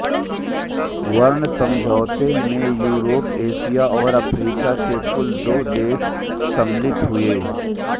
burn समझौते में Europe Asia और अफ्रीका के कुल दो देश सम्मिलित हुए